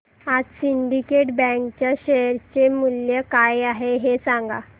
आज syndicate bank च्या share चे मूल्य काय आहे हे सांगा